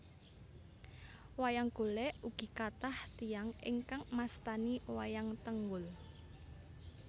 Wayang Golèk ugi kathah tiyang ingkang mastani wayang tengul